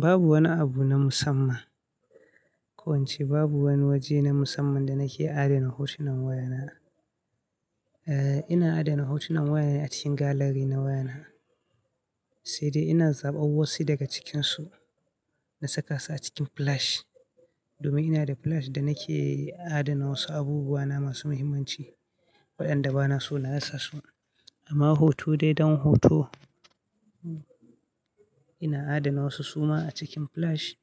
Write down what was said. Babu wani abu na musamman. Ko in ce babu wani waje na musamman da nake adana hotunan wayana. Eh, ina adana hotunan waya a cikin gallery na wayana, sai dai ina zaɓa wasu daga cikinsu na sakasu a cikin flash. Domin ina da flash da nake adana wasu abubuwa na masu muhimmanci waɗanda bana so na rasa su. Amma hoto dai dan hoto, ina adana wasu suma a cikin flash